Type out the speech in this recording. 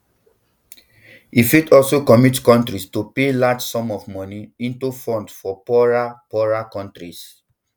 e fit also commit countries to pay large sums of money into funds for poorer poorer countries